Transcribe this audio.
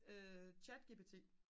chatgpt